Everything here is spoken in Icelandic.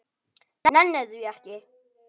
Nenni því ekki.